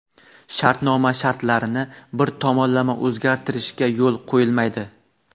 shartnoma shartlarini bir tomonlama o‘zgartirishga yo‘l qo‘yilmaydi.